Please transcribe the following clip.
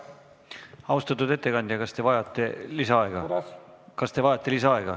Austatud ettekandja, kas te vajate lisaaega?